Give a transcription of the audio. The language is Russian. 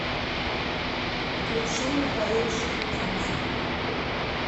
включи михаил шуфутинский